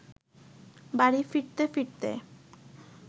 বাড়ি ফিরতে ফিরতে